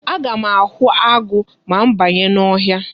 Aga m ahụ agụ ma m banye n'ọhịa.